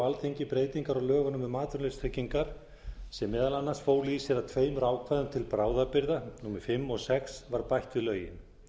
alþingi breytingar á lögunum um atvinnuleysistryggingar sem meðal annars fólu í sér að tveimur ákvæðum til bráðabirgða númer fimm og sex var bætt við lögin